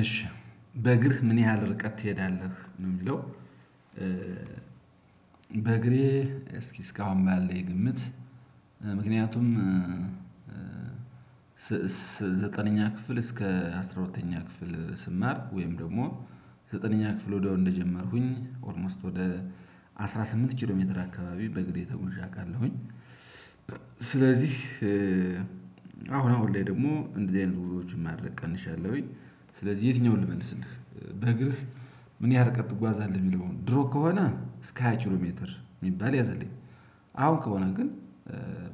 እሺ በእግርህ ምን ያህል ርቀት ትሄዳለህ ነው የሚለው? በእግሬ እስኪ እስካሁን ባለው ግምት። ምክንያቱም። ዘጠነኛ ክፍል እስከ አስራ ሁለተኛ ክፍል ስማር ወይም ደግሞ ዘጠነኛ ክፍል ወደው እንደጀመርኩኝ ኦልሞስት ወደ አስራ ስምንት ኪሎ ሜትር አካባቢ በእግሬ ተጉዤ አውቃለሁኝ። ስለዚህ አሁን አሁን ላይ ደግሞ እንደዚህ አይነት ጉዞዎችን ማድረግ ቀንሻለሁኝ። ስለዚህ የትኛውን ልመልስልህ? በእግርህ ምን ያህል ርቀት ትጓዛለህ የሚለውን ድሮ ከሆነ እስከ ሃያ ኪሎ ሜትር የሚባል ያዘልኝ። አሁን ከሆነ ግን